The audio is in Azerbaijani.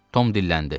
Tom dilləndi.